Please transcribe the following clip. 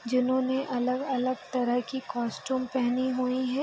जिन्होंने अलग-अलग तरह की कॉस्टयूम पहनी हुई हैं।